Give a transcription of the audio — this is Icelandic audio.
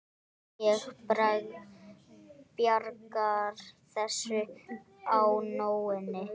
Ég bjargar þessu á nóinu.